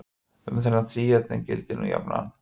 um þennan þríhyrning gildir nú jafnan